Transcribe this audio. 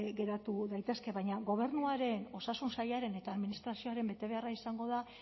geratu daitezke baina gobernuaren osasun sailaren eta administrazioaren betebeharra izango da